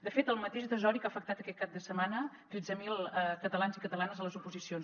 de fet el mateix desori que ha afectat aquest cap de setmana tretze mil catalans i catalanes a les oposicions